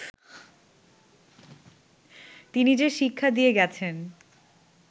তিনি যে শিক্ষা দিয়ে গেছেন